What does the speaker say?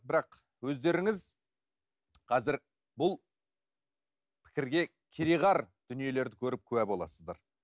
бірақ өздеріңіз қазір бұл пікірге кереғар дүниелерді көріп куә боласыздар